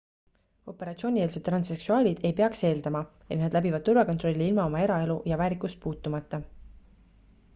operatsioonieelsed transseksuaalid ei peaks eeldama et nad läbivad turvakontrolli ilma oma eraelu ja väärikust puutumata